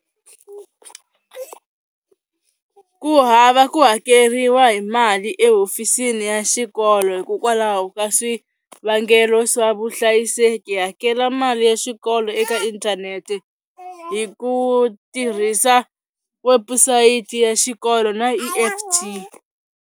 Ku hava ku hakeriwa hi mali ehofisini ya xikolo hikokwalaho ka swivangelo swa vuhlayiseki hakela mali ya xikolo eka inthanete hi ku tirhisa webusayiti ya xikolo na E_F_T.